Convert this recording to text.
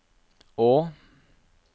å